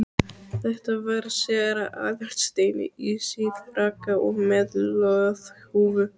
Þetta var séra Aðal steinn, í síðfrakka og með loðhúfu.